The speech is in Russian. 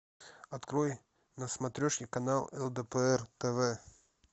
открой на смотрешке канал лдпр тв